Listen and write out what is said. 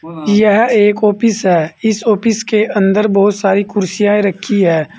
यह एक ऑफिस है इस ऑफिस के अंदर बहुत सारी कुर्सियां रखी है।